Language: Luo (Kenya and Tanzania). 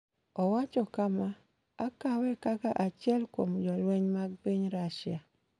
Owacho kama: “Akawe kaka achiel kuom jolweny mag piny Russia.”